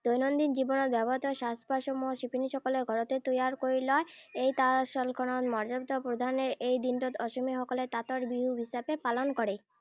দৈনন্দিন জীৱনত ব্যৱহৃত সাজ পাৰসমূহ শিপীনীসকলে ঘৰতে তৈয়াৰ কৰি লয়। এই তাঁতশালখনক মৰ্যদা প্ৰদানৰেই এই দিনটোত অসমীয়াসকলে তাঁতৰ বিহু হিচাপে পালন কৰে।